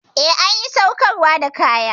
Eh, an ƴi saukarwa da kaya.